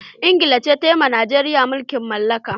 Ingila ce ta yi wa Najeriya mulkin mallaka.